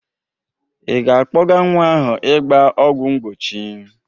Ị ga-akpọga nwa ahụ ịgba ọgwọ mbochi?